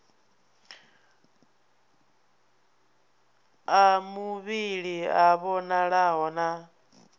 a muvhili a vhonalaho na